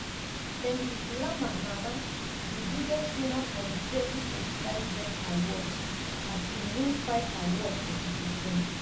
kendrick lamar na na di biggest winner for di 2025 bet awards as e win five awards for di event.